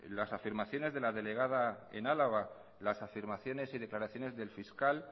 las afirmaciones de la delegada en álava las afirmaciones y las declaraciones del fiscal